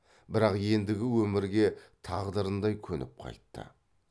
бірақ ендігі өмірге тағдырындай көніп қайтты